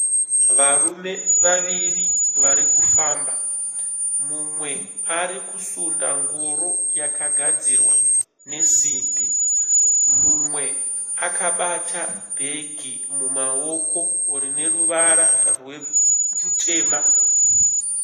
Varume vaviri varikufamba. Umwe arikusunda ngoro yakagadzirwa nesimbi. Mumwe akabata bhegi mumaoko rineruvara rutema.